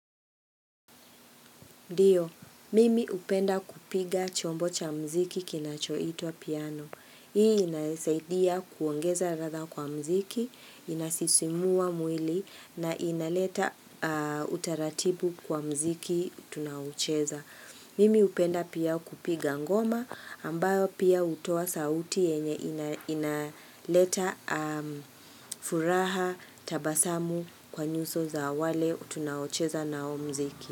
Dio, mimi upenda kupiga chombo cha mziki kinachoitwa piano. Hii inanisaidia kuongeza radha kwa mziki, inasisimua mwili na inaleta utaratibu kwa mziki tunaucheza. Mimi upenda pia kupiga ngoma ambayo pia utoa sauti yenye inaleta furaha tabasamu kwa nyuso za wale tunawocheza nao mziki.